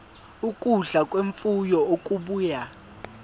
ukudla kwemfuyo okubuya